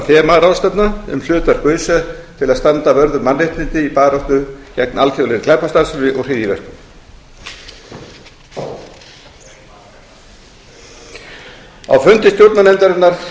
þemaráðstefna um hlutverk öse til að standa vörð um mannréttindi í baráttu gegn alþjóðlegri glæpastarfsemi og hryðjuverkum á fundi stjórnarnefndarinnar